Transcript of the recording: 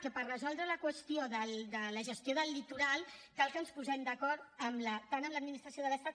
que per resoldre la qüestió de la gestió del litoral cal que ens posem d’acord tant amb l’administració de l’estat